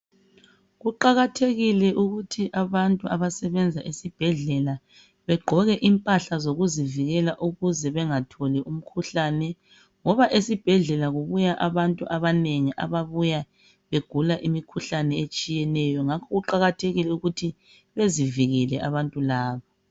Kuqakathekile ukuthi abantu abasebenza esibhedlela begqoke impahla zokuzivikela ukuze bengatholi umkhuhlane ngoba esibhedlela kubuya abantu abanengi ababuya begula imikhuhlane etshiyeneyo. Ngakho kuqakathekile ukuthi bezivikele abantu laba.